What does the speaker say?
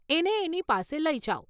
એને એની પાસે લઇ જાવ.